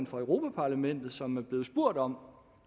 for europa parlamentet som er blevet spurgt om